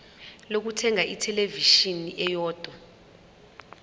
lokuthenga ithelevishini eyodwa